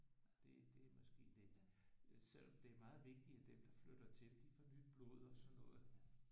Det det er måske lidt selvom det er meget vigtigt at dem der flytter til de får nyt blod og sådan noget